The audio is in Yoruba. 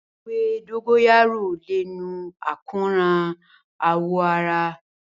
Ewé dógóyárò lè nu àkóràn àwọ̀ ara